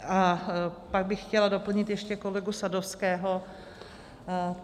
A pak bych chtěla doplnit ještě kolegu Sadovského.